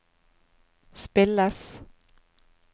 spilles